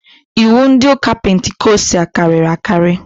Iwu ndị ụka pentikostal karịrị akarị